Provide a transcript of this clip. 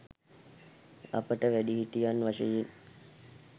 අපට වැඩිහිටියන් වශයෙන්